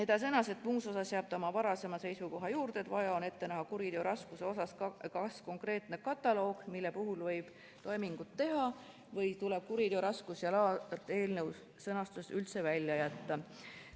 Ta sõnas, et muus osas jääb ta oma varasema seisukoha juurde, et vaja on ette näha kuriteo raskuse osas kas konkreetne kataloog, mille puhul võib toimingut teha, või tuleb "kuriteo raskus ja laad" eelnõu sõnastusest üldse välja jätta.